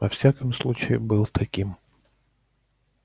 во всяком случае был таким